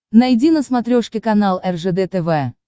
найди на смотрешке канал ржд тв